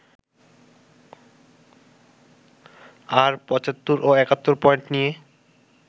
আর ৭৫ ও ৭১ পয়েন্ট নিয়ে